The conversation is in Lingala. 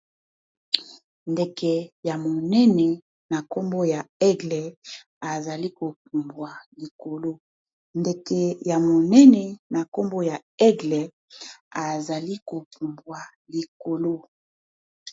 ndeke ya monene na nkombo ya aigle ezali kopumbwa likolo ndeke ya monene na nkombo ya aigle ezali kopumbwa likolo